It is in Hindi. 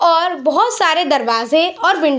और बहुत सारे दरवाजे और विन --